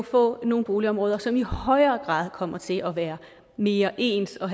få nogle boligområder som i højere grad kommer til at være mere ens og